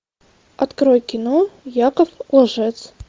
открой кино яков лжец